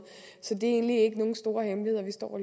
så det er egentlig ikke nogen store hemmelighed vi står og